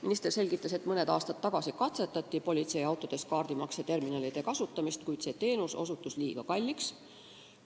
Minister selgitas, et mõni aasta tagasi katsetati politseiautodes kaardimakseterminalide kasutamist, kuid see teenus osutus liiga kalliks.